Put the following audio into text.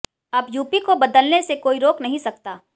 अब यूपी को बदलने से कोई रोक नहीं सकता